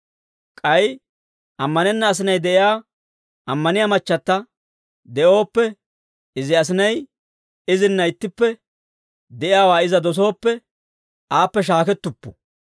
K'ay ammanenna asinay de'iyaa ammaniyaa machchata de'ooppe, izi asinay izinna ittippe de'iyaawaa iza dosooppe, aappe shaakettuppu.